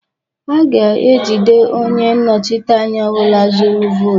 A ga-ejide onye nnọchiteanya ọ bụla zụrụ votu